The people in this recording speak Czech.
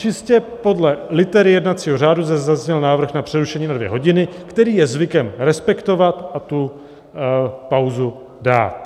Čistě podle litery jednacího řádu zde zazněl návrh na přerušení na dvě hodiny, který je zvykem respektovat a tu pauzu dát.